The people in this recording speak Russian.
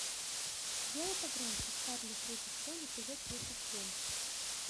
сделай погромче чарли третий сезон эпизод тридцать семь